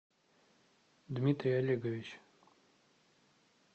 дмитрий олегович